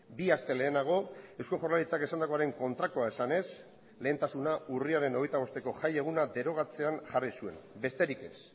bi aste lehenago eusko jaurlaritzak esandakoaren kontrakoa esanez lehentasuna urriaren hogeita bosteko jai eguna derogatzean jarri zuen besterik ez